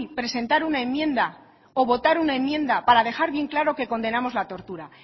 presentar una enmienda o votar una enmienda para dejar bien claro que condenamos la tortura